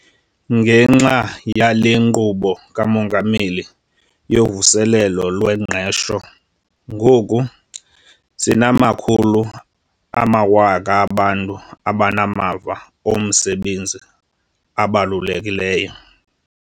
Ngenxa yale Nkqubo kaMongameli yoVuselelo lweNgqesho, ngoku sinamakhulu amawaka abantu abanamava omsebenzi abalulekileyo.